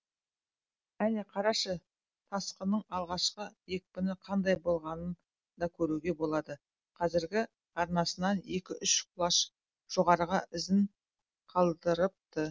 әне қарашы тасқынның алғашқы екпіні қандай болғанын да көруге болады қазіргі арнасынан екі үш құлаш жоғарыға ізін қалдырыпты